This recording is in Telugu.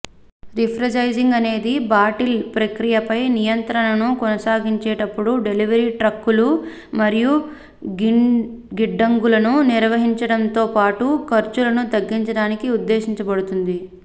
రిఫ్రెఛైజింగ్ అనేది బాటిల్ ప్రక్రియపై నియంత్రణను కొనసాగించేటప్పుడు డెలివరీ ట్రక్కులు మరియు గిడ్డంగులను నిర్వహించడంతో పాటు ఖర్చులను తగ్గించడానికి ఉద్దేశించబడింది